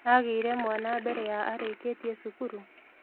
Agĩire mwana mbere ya arĩkĩtie cukuru?